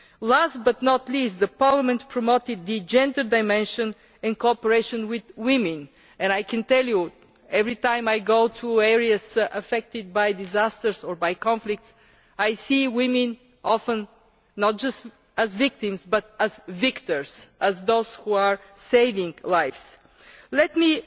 Last but not least, Parliament has promoted the gender dimension in cooperation with women and I can tell you that every time I go to areas affected by disasters or by conflict I often see women not just as victims but as victors, as those who are saving lives. Let